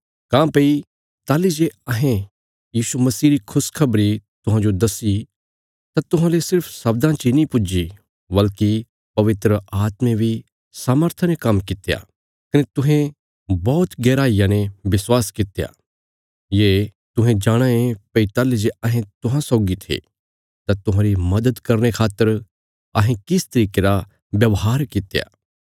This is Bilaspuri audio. काँह्भई ताहली जे अहें यीशु मसीह री खुशखबरी तुहांजो दस्सी तां तुहांले सिर्फ शब्दां ची नीं पुज्जी बल्कि पवित्र आत्मे बी सामर्था ने काम्म कित्या कने तुहें बौहत गैहराईया ने विश्वास कित्या ये तुहें जाणाँ ये भई ताहली जे अहें तुहां सौगी थे तां तुहांरी मदद करने खातर अहें किस तरिके रा व्यवहार कित्या